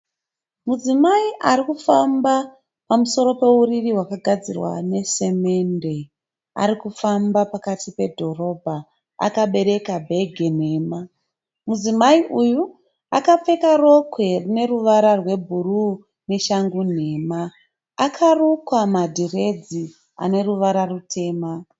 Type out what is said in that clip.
Mudzimai arikufamba pamusoro peuriri hwakagadzirwa ne semende. Arikufamba pakati pedhorobha akabereka bhegi nhema . Mudzimai uyu akapfeka rokwe rine ruvara rwe bhuruu neshangu nhema. Akarukwa ma dhiredhi ane ruvara rutema.